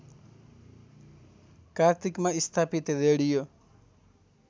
कार्तिकमा स्थापित रेडियो